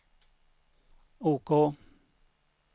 OK